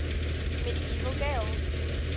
medieval gaels